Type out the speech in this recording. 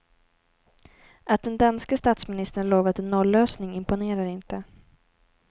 Att den danske statsministern lovat en nollösning imponerar inte.